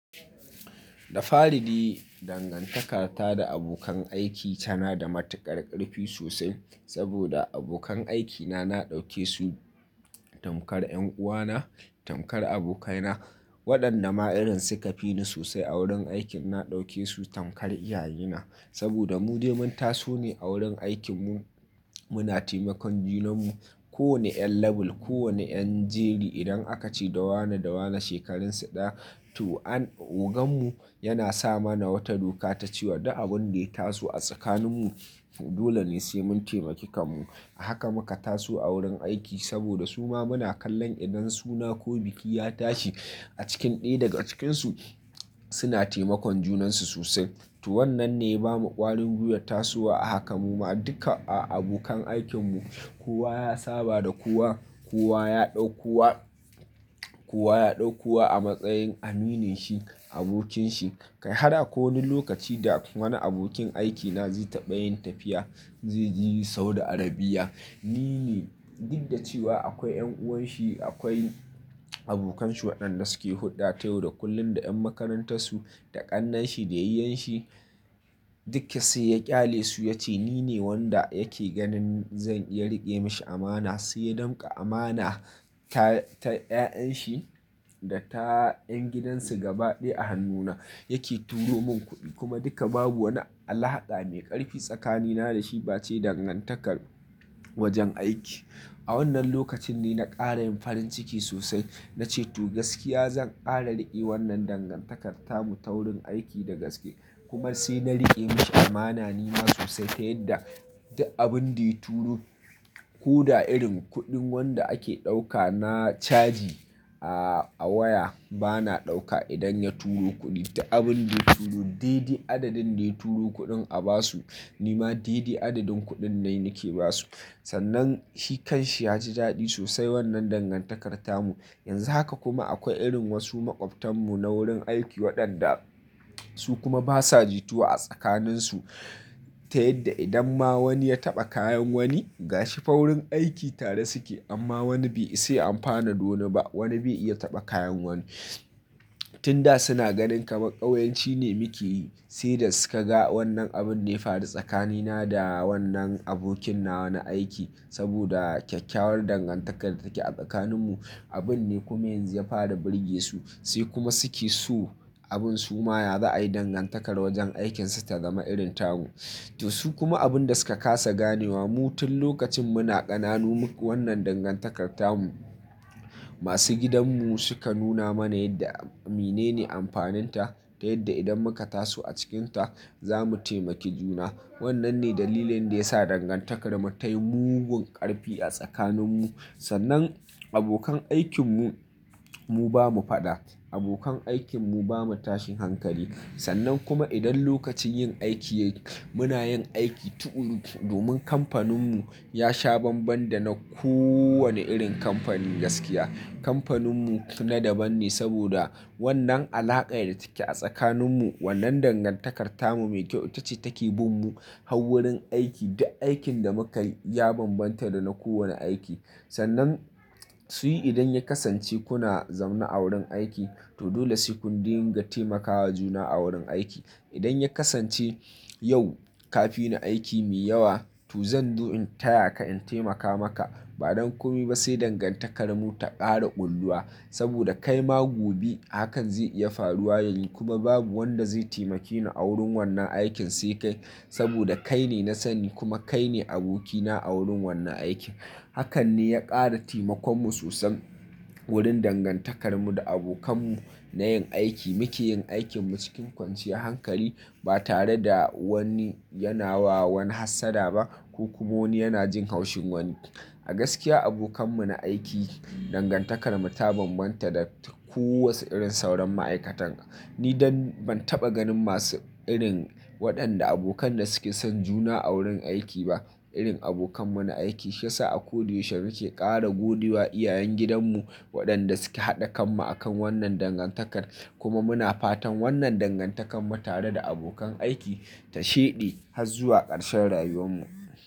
Da farin dai dangantakar ta da abokan aiki tana da matuƙar ƙarfi sosai. Saboda abokan aikina na ɗauke su tamkar 'yan uwana, tamkar abokaina waɗanda ma'aƙirin suka fi ni sosai a wurin aikin. Na ɗauke su tamkar iyaye na saboda mu dai mun taso ne a wurin aikinmu. Muna taimakon junanmu kowane ƴan label, kowane ƴan jeri idan aka ci dawane dawane shekarun sa ɗaya. To an ogan mu yana sama na wata doka ta cewa duk abun da ya taso a tsakanin mu dole ne sai mun taimaki kam mu. Haka muka taso a wurin aiki saboda su ma muna kallon idan suna ko biki ya tashi a cikin ɗaya daga cikinsu suna taimakon junansu sosai. To wannan ne ya bamu ƙwarin guyar tasowa a haka muma duka a abokan aikinmu kowa ya saba da kowa, kowa ya ɗaukuwa, kowa ya ɗaukuwa a matsayin amininsu abokinsu. Kai haka da ko wani lokaci da wani abokin aikina zai taɓa yin tafiya zai je Saudi Arabia. Ni ne duk da cewa akwai 'yan uwanshi, akwai abokanshi waɗanda suke hurɗa tayar da kullum da 'yan makarantar su da ƙannanshi da yayenshi dukke sai ya ƙyale su ya ce ni ne wanda yake ganin zan iya riƙe mashi amana. Sai ya ɗinka amana ta, ta 'ya'yan shi da ta 'yan gidan su gaba ɗaya a hannuna yake turo mun kuɗi kuma duka babu wani alhaƙa mai ƙarfi tsakanina da shi ba ce dangantakar wajen aiki. A wannan lokacin ne na ƙara yin farin ciki sosai na ce to gaskiya zan ƙara riƙe wannan dangantakar tamu ta wurin aiki da gaske kuma sai na riƙe mashi amana nima sosai. Ta yadda duk abun da ya turo ko da irin kuɗin wanda ake ɗauka na caji a waya bana ɗauka idan ya turo kuɗi ta abun da ya turo dai dai adadin da ya turo kuɗin a basu nima dai dai adadin kuɗin nai nake basu. Sannan shi kan shi ya ji daɗi sosai wannan dangantakar tamu. Yanzu haka kuma akwai irin wasu maƙwabtan mu na wurin aiki waɗanda su kuma basa jituwa a tsakanin su. Ta yadda idan ma wani ya taɓa kayan wani gashi fa wurin aiki tare suke amma wani bai sai an fara ɗono ba wani bai iya taɓa kayan wani. Tin da suna ganin kamar ƙauyanci ne muke yi sai da suka ga wannan abun ne ya faru tsakanina da wannan abokin na na aiki. Saboda kyakkyawar dangantakar da take a tsakanin mu abun ne kuma yanzu ya fara birge su. Sai kuma suke so abun su ma ya za'a yi dangantakar wajen aikinsu ta zama irin tamu. To su kuma abun da suka ƙasa ganewa mu tun lokacin muna ƙananu wannan dangantakar tamu. Masu gidan mu suka nuna mana yadda mene ne amfanin ta ta yadda idan muka taso a cikinta za mu taimaki juna. Wannan ne dalilin da ya sa dangantakar mu ta yi mugun ƙarfi a tsakanin mu. Sannan abokan aikin mu, mu bamu faɗa abokan aikin mu bamu tashin hankali. Sannan kuma idan lokacin yin aiki ya yi muna yin aiki tuƙuru domin kamfanin mu ya sha banban da na ko wane irin kamfani gaskiya. Kamfanin mu na daban ne saboda wannan alaka'ar da take a tsakanin mu. Wannan dangantakar tamu mai kyauta ce take bin mu har wurin aiki. Duk aikin da muka yi ya banbanta da na kowane aiki. Sannan su yi idan ya kasance kuna zaune a wurin aiki to dole sai kun dinga taimakawa juna a wurin aiki. Idan ya kasance yau ka fi ni aiki mai yawa to zan zo in taya ka in taimaka maka. Ba don kuma sai dangantakar mu ta ƙara ƙulluwa saboda kai ma gobe hakan zai iya faruwa yanzu kuma babu wanda zai taimakeni a wurin wannan aikin sai kai. Saboda kai ne na sani kuma kai ne aboki na a wurin wannan aiki. Hakan ne ya ƙara taimakon mu sosai wurin dangantakar mu da abokan mu na yin aiki. Muke yin aikin mu cikin kwanciyar hankali ba tare da wani yana wa wani hassada ba ko kuma wani yana jin haushin wani. A gaskiya abokan mu na aiki dangantakar mu ta banbanta da ko wace irin sauran ma'aikatan. Ni dan ban taɓa ganin masu irin waɗanda abokan da suke son juna a wurin aiki ba irin abokan mu na aiki. Shi ya sa a ko da yaushe muke ƙara godiya iyayen gidan mu waɗanda suke haɗa kan mu akan wannan dangantakar. Kuma muna fatan wannan dangantakar mu tare da abokan aiki ta shaidi har zuwa ƙarshen rayuwar mu.